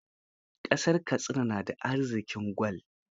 Kasar Katsina na da arziƙin gwal.